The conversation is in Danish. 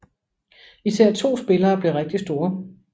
Især 2 spillere blev rigtig store